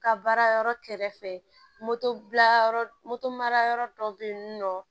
Ka baara yɔrɔ kɛrɛfɛ moto bila yɔrɔ mara yɔrɔ dɔ bɛ yen nɔ